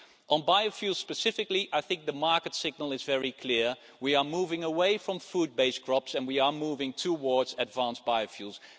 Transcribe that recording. On biofuel specifically, I think the market signal is very clear we are moving away from food-based crops and we are moving towards advanced biofuels.